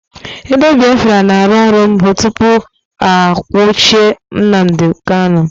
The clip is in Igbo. Redio Biafra na-arụ ọrụ mbụ tụpụ a nwuchie Nnamdi Kanu